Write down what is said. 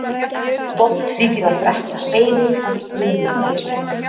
gott þykir að drekka seyðið af brönugrasi